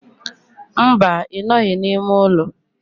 Mba, I noghi n'ime ulo.